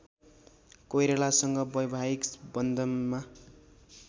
कोइरालासँग वैवाहिक बन्धनमा